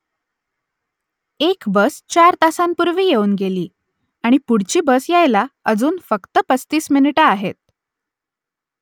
एक बस चार तासांपूर्वी येऊन गेली आणि पुढची बस यायला अजून फक्त पस्तीस मिनिटं आहेत